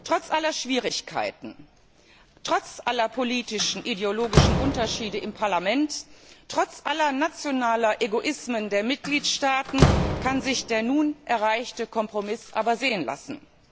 Trotz aller Schwierigkeiten, trotz aller politischen und ideologischen Unterschiede im Parlament, trotz aller nationalen Egoismen der Mitgliedstaaten kann sich der nun erreichte Kompromiss aber sehen lassen.